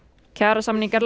kjarasamningar